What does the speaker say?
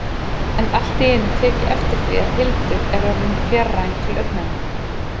En allt í einu tek ég eftir því að Hildur er orðin fjarræn til augnanna.